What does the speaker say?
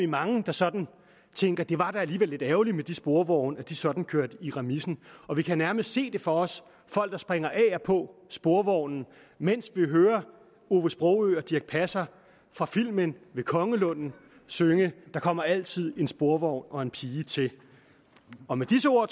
mange der sådan tænker at det da alligevel var lidt ærgerligt at de sporvogne sådan kørte i remisen og vi kan nærmest se det for os folk der springer af og på sporvognen mens vi hører ove sprogøe og dirch passer fra filmen ved kongelunden synge der kommer altid en sporvogn og en pige til og med disse ord